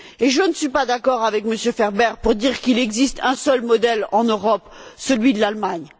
Je ne suis pas d'accord avec M. Ferber pour dire qu'il n'existe qu'un seul modèle en Europe, celui de l'Allemagne.